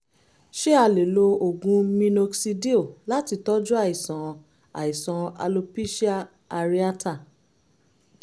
ṣé a lè lo oògùn minoxidil láti tọ́jú àìsàn àìsàn alopecia areata?